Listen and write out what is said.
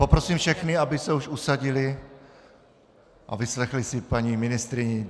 Poprosím všechny, aby se už usadili a vyslechli si paní ministryni.